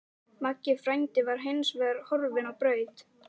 Maggi frændi var hins vegar horfinn á braut.